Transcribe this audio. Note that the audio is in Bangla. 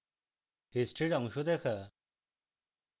history অংশ দেখা